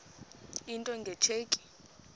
into nge tsheki